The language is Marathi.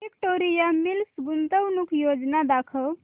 विक्टोरिया मिल्स गुंतवणूक योजना दाखव